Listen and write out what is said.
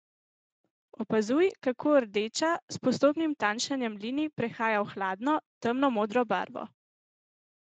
Opazuj, kako rdeča s postopnim tanjšanjem linij prehaja v hladno, temno modro barvo!